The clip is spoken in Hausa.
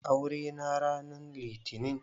Aure n ranan litinin?